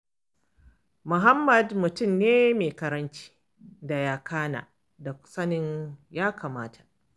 Muhammad mutum ne mai karamci da yakana da sanin ya kamata.